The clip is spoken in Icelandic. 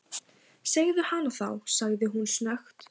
Segðu hana þá- sagði hún snöggt.